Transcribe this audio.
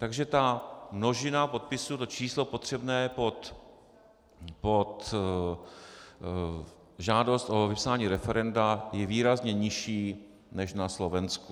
Takže ta množina podpisů, to číslo potřebné pod žádost o vypsání referenda je výrazně nižší než na Slovensku.